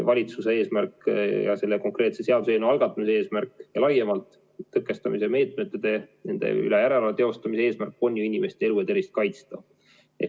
Valitsuse eesmärk ja selle konkreetse seaduseelnõu algatamise eesmärk laiemalt, tõkestamise meetmete ja nende üle järelevalve teostamise eesmärk on inimeste elu ja tervist kaitsta.